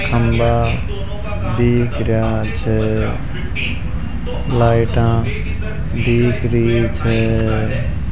खंभा दिख रहा छे लाइटा दिख रही छे --